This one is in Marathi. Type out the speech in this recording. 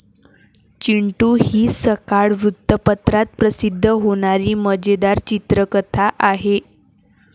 चिंटू हि सकाळ वृत्तपत्रात प्रसिद्ध होणारी मजेदार चित्रकथा आहे.